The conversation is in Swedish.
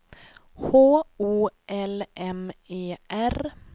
H O L M E R